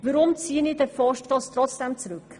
Warum ziehe ich den Vorstoss trotzdem zurück?